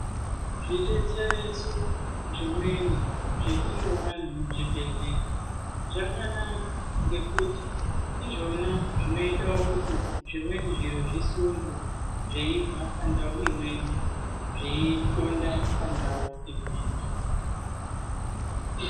Zvidetsereso zvimweni zvetinoona muzvibhedhlera zvakanaka ngekuti ndizvona zvinoita kuti zvimweni zviro zvisundwe zveibva pandau imweni Zveithonda pandau imweni.